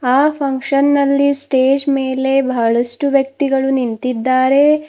ಆ ಫಂಕ್ಷನ್ ನಲ್ಲಿ ಸ್ಟೇಜ್ ಮೇಲೆ ಬಹಳಷ್ಟು ವ್ಯಕ್ತಿಗಳು ನಿಂತಿದ್ದಾರೆ.